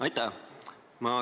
Aitäh!